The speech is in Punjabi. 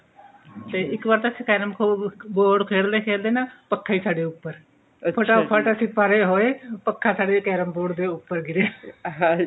ਤੇ ਇੱਕ ਵਾਰ ਤਾਂ ਕਸੀਨ carrom board ਖੇਲਦੇ ਖੇਲਦੇ ਨਾ ਪੱਖਾ ਹੀ ਸਾਡੇ ਉੱਪਰ ਫਟਾਫਟ ਅਸੀਂ ਪਰੇ ਹੋਏ ਪੱਖਾ ਸਾਡੇ carrom board ਦੇ ਉੱਪਰ ਗਿਰਿਆ